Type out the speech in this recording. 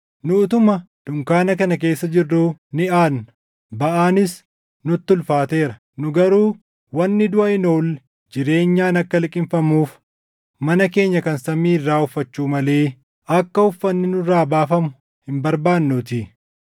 Nu utuma dunkaana kana keessa jirruu ni aadna; baʼaanis nutti ulfaateera; nu garuu wanni duʼa hin oolle jireenyaan akka liqimfamuuf mana keenya kan samii irraa uffachuu malee akka uffanni nurraa baafamu hin barbaannuutii.